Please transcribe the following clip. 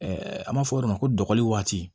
an b'a fɔ o yɔrɔ ma ko dɔgɔni waati